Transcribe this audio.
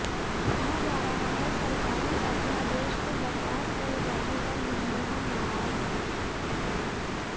कहा जा रहा है सरकारी अध्यादेश को बकवास कहे जाने पर मनमोहन नाराज हैं